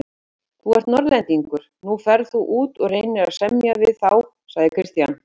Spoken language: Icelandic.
Þú ert Norðlendingur, nú ferð þú út og reynir að semja við þá, sagði Christian.